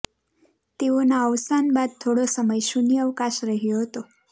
તેઓના અવસાન બાદ થોડો સમય શૂન્ય અવકાશ રહ્યો હતો